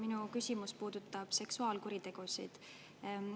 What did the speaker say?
Minu küsimus puudutab seksuaalkuritegusid.